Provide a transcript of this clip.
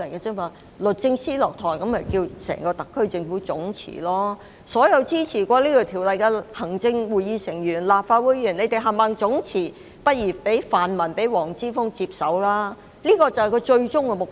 當律政司司長下台後，他們便會叫整個特區政府總辭，而所有曾支持《條例草案》的行政會議成員和立法會議員亦應總辭，然後讓泛民議員和黃之鋒接手，就是他們的終極目的。